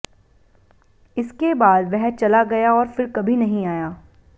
इसके बाद वह चला गया और फिर कभी नहीं आया